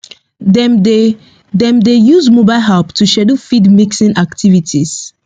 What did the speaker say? dem dey dem dey use mobile app to schedule feed mixing activities